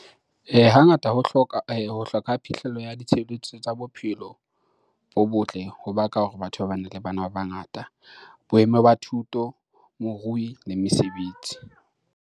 Hangata ho hloka ho hloka ha phihlello ya ditshebeletso tsa bophelo bo botle ho baka hore batho ba bane le bana ba bangata, boemo ba thuto, borui le mesebetsi.